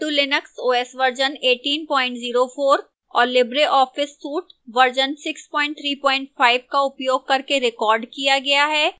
ubuntu linux os version 1804 और libreoffice suite version 635 का उपयोग करके रिकॉर्ड किया गया है